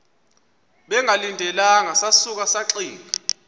bengalindelanga sasuka saxinga